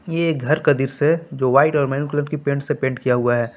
यह एक घर का दृश्य है जो वाइट और मैरून कलर की पेंट से पेंट किया हुआ है।